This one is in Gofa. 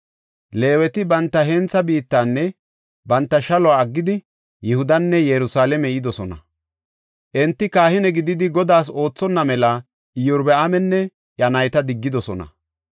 Leeweti banta hentha biittanne banta shaluwa aggidi Yihudanne Yerusalaame yidosona. Enti kahine gididi Godaas oothonna mela Iyorbaaminne iya nayti diggidosona.